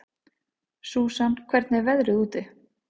Susan, hvernig er veðrið úti?